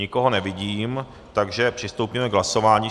Nikoho nevidím, takže přistoupíme k hlasování.